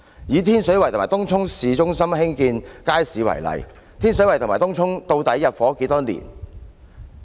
以天水圍和東涌市中心興建街市為例，天水圍和東涌究竟入伙多少年了？